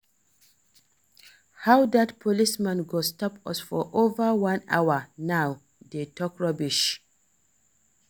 How dat policeman go stop us for over one hour now dey talk rubbish